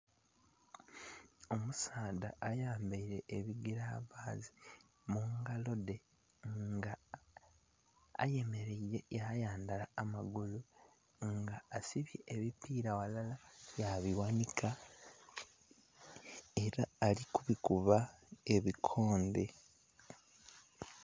Omusaadha ayambaire ebigiravasi mungalo dje nga ayemeraire yayandhala amagulu nga asibye ebipira ghalala yabiwanika era alikubikubba ebikondhe.